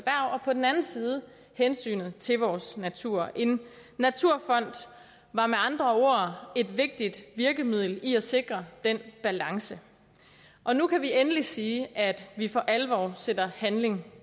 på den anden side hensynet til vores natur en naturfond var med andre ord et vigtigt virkemiddel i at sikre den balance og nu kan vi endelig sige at vi for alvor sætter handling